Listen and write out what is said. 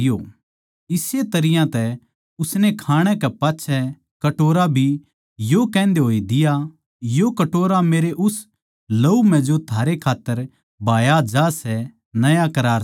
इसे तरियां तै उसनै खाणै के पाच्छै कटोरा भी यो कहन्दे होए दिया यो कटोरा मेरै उस लहू म्ह जो थारै खात्तर बहाया जा सै नया करार सै